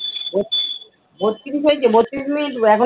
বত্রিশ হয়েছে? বত্রিশ মিনিট এখন?